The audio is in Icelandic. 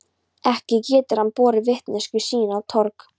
Ekki getur hann borið vitneskju sína á torg.